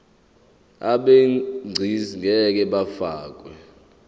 abegcis ngeke bafakwa